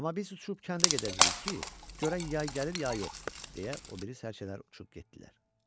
Amma biz uçub kəndə gedəcəyik ki, görək yay gəlir ya yox, deyə o biri sərcələr uçub getdilər.